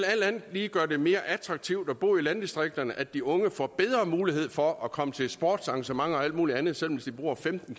lige gøre det mere attraktivt at bo i landdistrikterne at de unge får bedre mulighed for at komme til sportsarrangementer og alt muligt andet selv om de bor femten